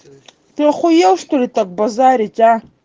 ты охуел что ли так базарить